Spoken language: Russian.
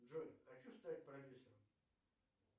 джой хочу стать продюсером